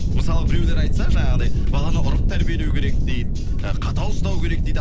мысалы біреулер айтса жаңағындай баланы ұрып тәрбиелеу керек дейді ы қатал ұстау керек дейді